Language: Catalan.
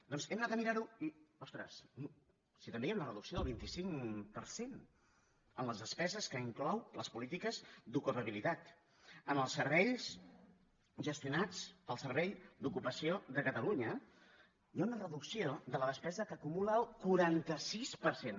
doncs hem anat a mirar ho i ostres si també hi ha una reducció del vint cinc per cent en les despeses que inclouen les polítiques d’ocupabilitat en els serveis gestionats pel servei d’ocupació de catalunya hi ha una reducció de la despesa que acumula el quaranta sis per cent